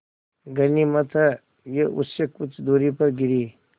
गनीमत है वे उससे कुछ दूरी पर गिरीं